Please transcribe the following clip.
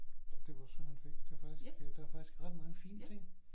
Det var sådan et der var der faktisk ret mange fine ting